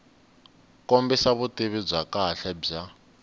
kombisa vutivi bya kahle bya